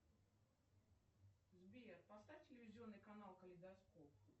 сбер поставь телевизионный канал калейдоскоп